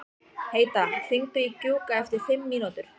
Heida, hringdu í Gjúka eftir fimm mínútur.